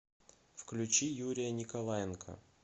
включи юрия николаенко